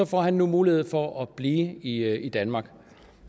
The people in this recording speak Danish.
får han nu mulighed for at blive i i danmark